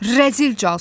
Rəzil casus!